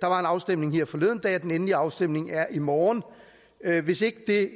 der var en afstemning her forleden dag og den endelige afstemning er i morgen hvis ikke